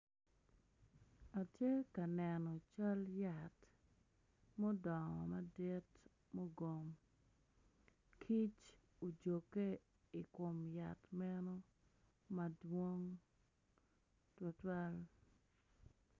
Atye ka neno cal yat mudongo madit i gang kic odode i kom yat enoni madong tutwal.